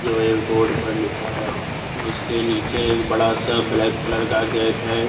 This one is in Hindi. जो एक बोर्ड पर लिखा है उसके नीचे एक बड़ा सा ब्लैक कलर का गेट है।